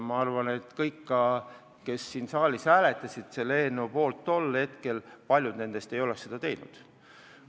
Ma arvan, et paljud neist, kes siin saalis selle eelnõu poolt siis hääletasid, ei oleks tahtnud seda teha.